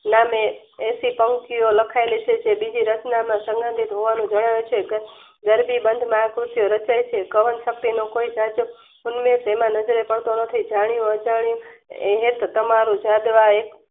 નામે એશી પંક્તિઓ લખાયેલી છે જે બીજી રચના માં સમ્બધિત રહેવાનું જણાય છે ગરબી બંધ મહા કૃત ની રચય છે. ગ્રહણ શક્તીનો કોઈ જાજો અને તેમના નજરે પડતો નથી જાણ્યું અજાણ્યું હેત તમારું જાદવા